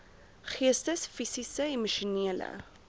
geestes fisiese emosionele